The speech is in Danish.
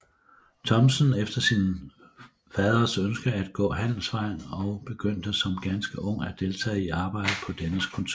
Thomsen efter sin faders ønske at gå handelsvejen og begyndte som ganske ung at deltage i arbejdet på dennes kontor